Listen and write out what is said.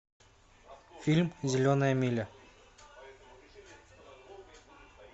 фильм зеленая миля